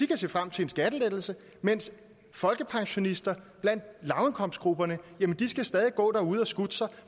kan se frem til en skattelettelse mens folkepensionister i lavindkomstgrupperne stadig skal gå derude og skutte sig